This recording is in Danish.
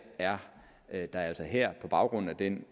er er der altså her på baggrund af den